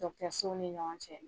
sow ni ɲɔgɔn cɛ.